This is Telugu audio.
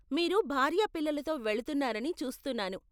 మీరు భార్య పిల్లలతో వెళ్తున్నారని చూస్తున్నాను.